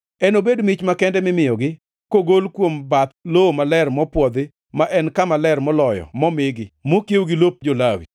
Enobed mich makende mimiyogi, kogol kuom bath lowo maler mopwodhi, ma en kama ler moloyo momigi, mokiewo gi lop jo-Lawi.